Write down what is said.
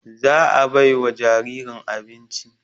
Za a bai wa jaririn abinci